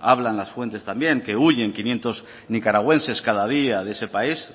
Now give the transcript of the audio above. hablan las fuentes también que huyen quinientos nicaragüenses cada día de ese país